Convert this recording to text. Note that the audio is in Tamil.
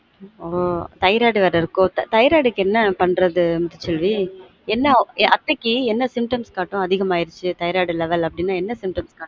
ஆன் thyroid வெற இருக்கொ thyroid க்கு என்ன பன்றது முத்து செல்வி என்ன அத்தைக்கு என்ன symptoms காட்டும் அதிகமாகிடுச்சு அ thyroid level அப்டினா என்ன symptoms காட்டும்